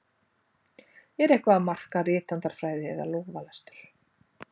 Er eitthvað að marka rithandarfræði eða lófalestur?